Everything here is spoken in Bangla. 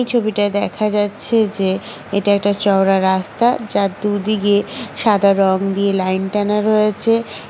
এই ছবিটাই দেখা যাচ্ছে যে এটা একটা চওড়া রাস্তা যার দুদিকে সাদা রং দিয়ে লাইন টানা রয়েছে ।